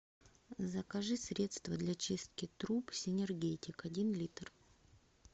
закажи средство для чистки труб синергетик один литр